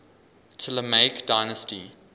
ptolemaic dynasty